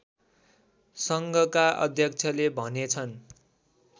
सङ्घका अध्यक्षले भनेछन्